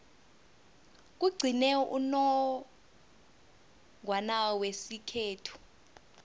kugcine unongorwana wesikhethu